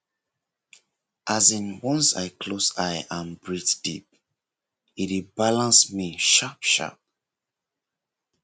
as in once i close eye and breathe deep e dey balance me sharpsharp